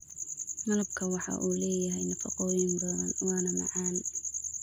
Malabka waxa uu leeyahay nafaqooyin badan waana macaan.